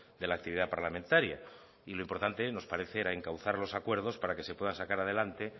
de la actividad parlamentaria y lo importante nos parece era encauzar los acuerdos para que se puedan sacar adelante